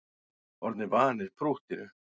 Orðnir vanir prúttinu